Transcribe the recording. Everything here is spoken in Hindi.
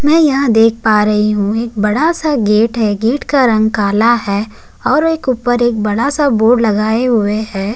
में यहाँ देख पा रही हुँ एक बड़ा सा गेट है गेट का रंग काला है और एक उपर बड़ा सा बोर्ड लगाए हुए है।